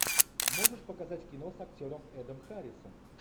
можешь показать кино с актером эдом харрисом